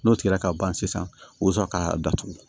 N'o tigɛra ka ban sisan o bɛ sɔrɔ ka datugu